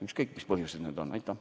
Ükskõik, mis põhjused tal selleks on.